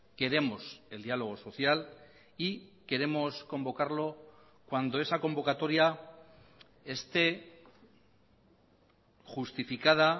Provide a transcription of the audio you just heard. queremos el diálogo social y queremos convocarlo cuando esa convocatoria esté justificada